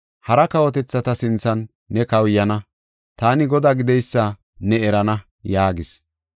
Hara kawotethata sinthan ne kawuyana; taani Godaa gideysa ne erana” yaagis.